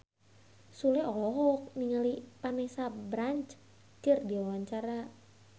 Sule olohok ningali Vanessa Branch keur diwawancara